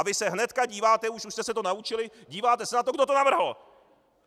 A vy se hned díváte, už jste se to naučili, díváte se na to, kdo to navrhl!